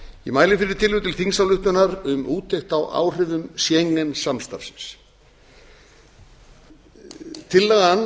ég mæli fyrir tillögu til þingsályktunar um úttekt á áhrifum schengen samstarfsins tillagan